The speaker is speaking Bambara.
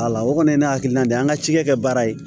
o kɔni ye ne hakilina de ye an ka cikɛ kɛ baara ye